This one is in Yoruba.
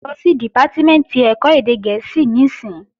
Lọ sí Dìpátímẹ̀ntì ẹ̀kọ́ èdè gẹ̀ẹ́sì níìsín!